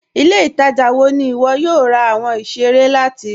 Ilẹ̀-ìtaja wọ̀ ní iwọ yóò rà awọn ìṣẹ̀rẹ̀ láti?